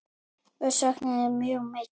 Við söknum þín mjög mikið.